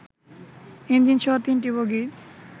ইঞ্জিনসহ ৩টি বগি